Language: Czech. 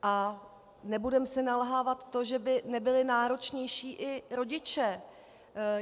A nebudeme si nalhávat to, že by nebyli náročnější i rodiče.